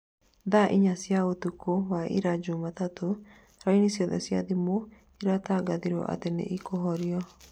thaa inya cĩa ũtũkũ wa ira jumatatũ raini ciothe cia thimũ iratangathirwo atĩ nĩ ikũhorio